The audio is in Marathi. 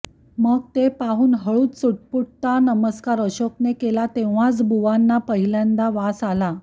मग ते पाहून हळूच चुटपुटता नमस्कार अशोकने केला तेव्हाच बुवांना पहिल्यांदा वास आला